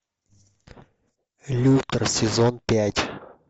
лютер сезон пять